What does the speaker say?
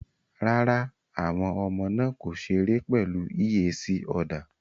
Rárá, àwọn ọmọ náà kò ṣeré pẹ̀lú eac other